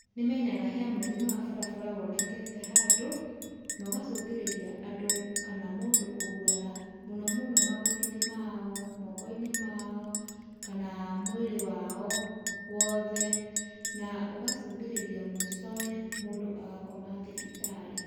Nĩmenyaga he mũtino wa barabara wonekete handu, na ũgacũngĩrĩria andũ kana mũndũ kũgurara, mũno mũno magũrũ-inĩ mao moko-inĩ mao, kana mwĩrĩ wao wothe. Na ũgacũngĩrĩria mũicowe mũndũ agakoma thibitarĩ.